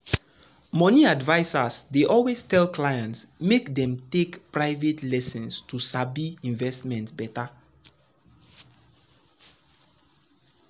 money advisers dey always tell clients make dem take um private lesson um to sabi investment better.